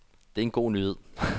Det er en god nyhed.